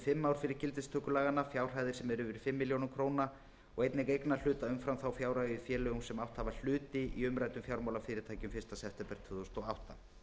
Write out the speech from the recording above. fimm ár fyrir gildistöku laganna fjárhæðir sem eru yfir fimm milljónum króna og einnig eignarhluta umfram þá fjárhæð í félögum sem átt hafa hluti í umræddum fjármálafyrirtækjum fyrsta september tvö þúsund og átta